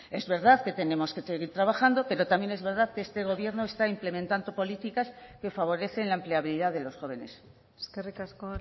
es verdad que tenemos que seguir trabajando pero también es verdad que este gobierno está implementando políticas que favorecen la empleabilidad de los jóvenes eskerrik asko